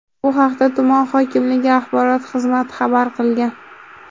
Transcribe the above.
Bu haqda tuman hokimligi axborot xizmati xabar qilgan .